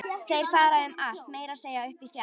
Þeir fara um allt, meira að segja upp í fjall.